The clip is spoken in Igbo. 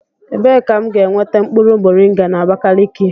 Ebee ka m ga-enweta mkpụrụ moringa na Abakaliki?